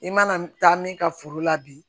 I mana taa min ka foro la bi